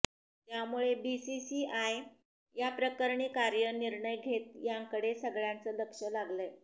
त्यामुळे बीसीसीआय याप्रकरणी काय निर्णय घेतं याकडे सगळ्यांचं लक्ष लागलंय